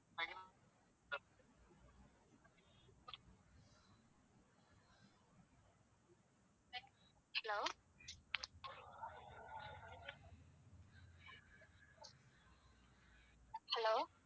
Hello.